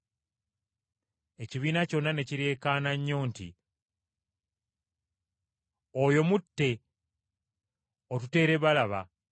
Ekibiina kyonna ne kireekaana nnyo nti, “Oyo mutte! Otuteere Balaba.”